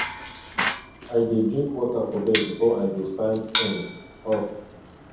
i dey drink water for bed before i go stand um up